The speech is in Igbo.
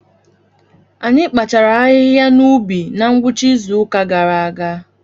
Anyị kpachaara ahịhịa n’ubi na ngwụcha izu ụka gara aga.